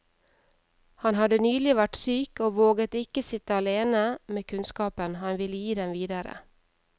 Han hadde nylig vært syk, og våget ikke sitte alene med kunnskapen, han ville gi den videre.